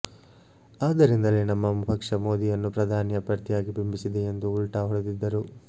ಆದ್ದರಿಂದಲೇ ನಮ್ಮ ಪಕ್ಷ ಮೋದಿಯನ್ನು ಪ್ರಧಾನಿ ಅಭ್ಯರ್ಥಿಯಾಗಿ ಬಿಂಬಿಸಿದೆ ಎಂದು ಉಲ್ಟಾ ಹೊಡೆದಿದ್ದರು